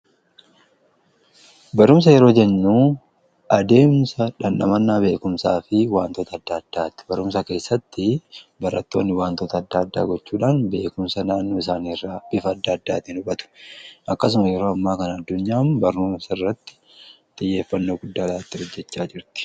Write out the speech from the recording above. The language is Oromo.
Barumsa yeroo jennu adeemsa dhandhamannaa beekumsaa fi wantoota addaa addaatti barumsa keessatti barattoonni waantoota adda addaa gochuudhaan beekumsa naannoo isaaniiirra bifa adda addaatiin argatu. Akkasuma yeroo ammaa kan addunyaan barumsa irratti xiyyeeffannoo guddaa hojjechaa jirti.